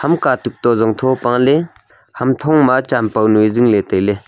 ima katuk to zongtho paale ham thung ma champoi nui zingle taile.